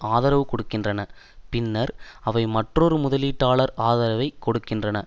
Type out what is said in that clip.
ஆதரவு கொடுக்கின்றன பின்னர் அவை மற்றொரு முதலீட்டாளர் ஆதரவைக் கொடுக்கின்றன